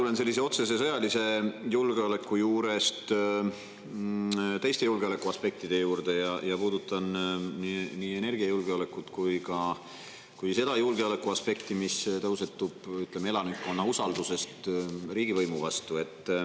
Mina tulen otsese sõjalise julgeoleku juurest teiste julgeolekuaspektide juurde ja puudutan nii energiajulgeoleku kui ka seda julgeolekuaspekti, mis tõusetub, ütleme, elanikkonna usaldusest riigivõimu vastu.